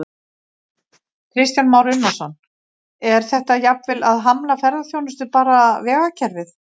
Kristján Már Unnarsson: Er þetta jafnvel að hamla ferðaþjónustu, bara vegakerfið?